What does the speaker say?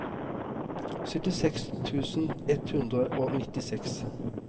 syttiseks tusen ett hundre og nittiseks